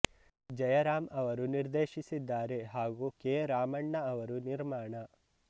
ಜಯರಾಮ್ ಅವರು ನಿರ್ದೇಶಿಸಿದ್ದಾರೆ ಹಾಗು ಕೆ ರಾಮಣ್ಣ ಅವರು ನಿರ್ಮಾಣ